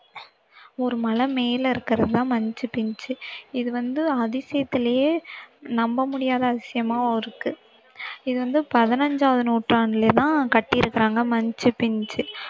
ஒரு மலை மேல இருக்கிறதுதான் மச்சு பிச்சு இது வந்து அதிசயத்திலயே நம்ப முடியாத அதிசயமாவும் இருக்கு இது வந்து பதினஞ்சாவது நூற்றாண்டுலதான் கட்டியிருக்கிறாங்க மச்சு பிச்சு